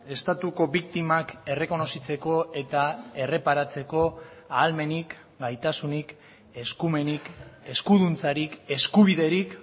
estatuko biktimak errekonozitzeko eta erreparatzeko ahalmenik gaitasunik eskumenik eskuduntzarik eskubiderik